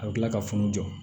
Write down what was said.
A bɛ tila ka funu jɔ